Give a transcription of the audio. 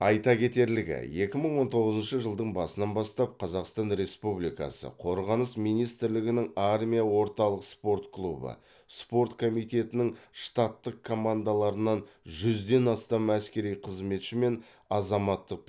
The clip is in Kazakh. айта кетерлігі екі мың он тоғызыншы жылдың басынан бастап қазақстан республикасы қорғаныс министрлігінің армия орталық спорт клубы спорт комитетінің штаттық командаларынан жүзден астам әскери қызметші мен азаматтық